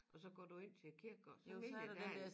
Og så går du ind til kirkegården så mener jeg derinde